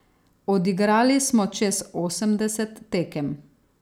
Odigrali smo čez osemdeset tekem.